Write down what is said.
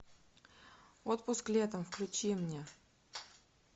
отпуск летом включи мне